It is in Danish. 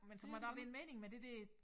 Men så må der jo være en mening med det dér